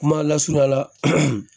Kuma lasurunyala